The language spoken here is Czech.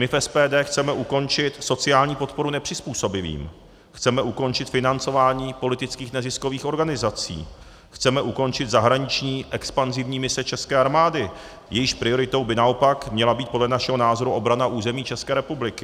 My v SPD chceme ukončit sociální podporu nepřizpůsobivým, chceme ukončit financování politických neziskových organizací, chceme ukončit zahraniční expanzivní mise české armády, jejíž prioritou by naopak měla být podle našeho názoru obrana území České republiky.